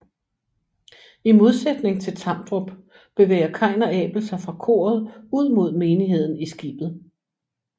I modsætning til Tamdrup bevæger Kain og Abel sig fra koret ud mod menigheden i skibet